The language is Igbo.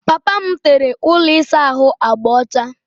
Papa m tere ụlọ ịsa ahụ agba ọcha.